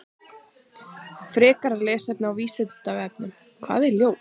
Frekara lesefni á Vísindavefnum: Hvað er ljóð?